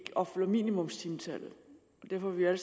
om minimumstimetal derfor er vi alle